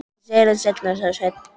Ég segi þér það seinna, sagði Sveinn.